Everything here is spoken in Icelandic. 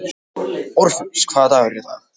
Orfeus, hvaða dagur er í dag?